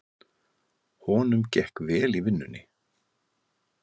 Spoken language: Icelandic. Honum gekk vel í vinnunni.